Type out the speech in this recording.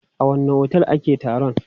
A wanne otel ake taron?